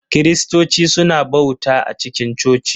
Kiristoci suna bauta a cikin coci.